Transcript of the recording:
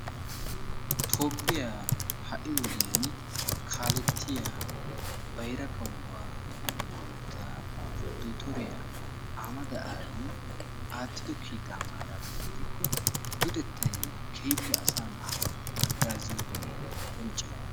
toophphiyaa ha'i wodiyaani kaalettiyaa bayira kawuwaa mantta dottoriyaa ahmada abi attido kiitaa maaraana gidikko luxettay keehippe asaa na'aa haggaazziyoogee qoncce.